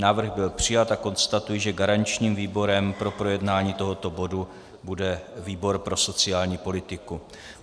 Návrh byl přijat a konstatuji, že garančním výborem pro projednání tohoto bodu bude výbor pro sociální politiku.